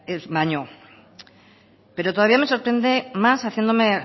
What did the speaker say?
baino pero todavía me sorprende más haciéndome